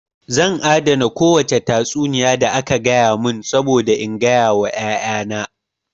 Zan adana kowace tatsuniya da aka gaya mun saboda in gaya wa ƴaƴa na